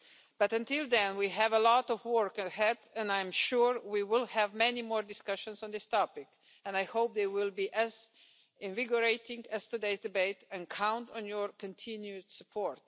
But until then, we have a lot of work ahead and I am sure we will have many more discussions on this topic. I hope they will be as invigorating as today's debate, and I count on your continued support.